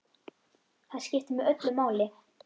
Það skipti mig öllu máli.